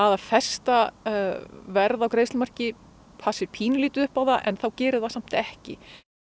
að festa verð á greiðslumarki passi pínulítið upp á það en þá gerir það samt ekki